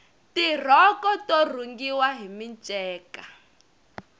tirhoko to rhungiwa hi minceka